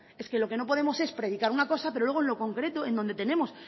es que lo que no podemos es predicar una cosa pero luego lo concreto en donde tenemos